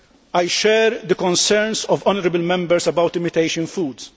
I share the concerns of honourable Members about imitation foods.